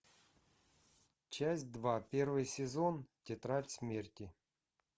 часть два первый сезон тетрадь смерти